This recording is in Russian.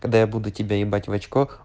когда я буду тебя ебать в очко